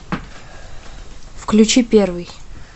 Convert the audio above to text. включи первый